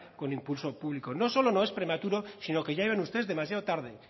con impulso público no solo no es prematuro sino que llegan ustedes demasiado tarde